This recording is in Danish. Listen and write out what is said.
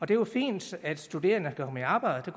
det er jo fint at de studerende kan komme i arbejde